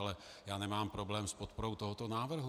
Ale já nemám problém s podporou tohoto návrhu.